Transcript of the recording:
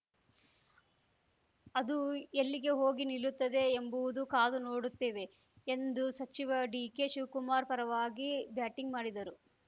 ಅದು ಎಲ್ಲಿಗೆ ಹೋಗಿ ನಿಲ್ಲುತದೆ ಎಂಬುವುದು ಕಾದು ನೋಡುತ್ತೇವೆ ಎಂದು ಸಚಿವ ಡಿಕೆ ಶಿವ್ ಕುಮಾರ್‌ ಪರವಾಗಿ ಬ್ಯಾಟಿಂಗ್‌ ಮಾಡಿದರು